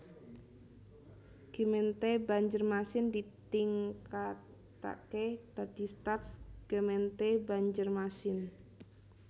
Gemeente Bandjermasin ditingkataké dadi Stads Gemeente Bandjermasin